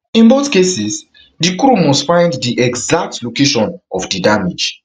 in both cases di crew must find di exact location of di damage